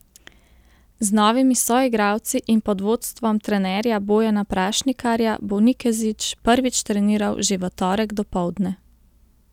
Z novimi soigralci in pod vodstvom trenerja Bojana Prašnikarja bo Nikezić prvič treniral že v torek dopoldne.